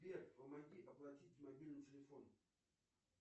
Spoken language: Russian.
сбер помоги оплатить мобильный телефон